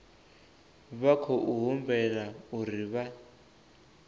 vha khou humbelwa uri vha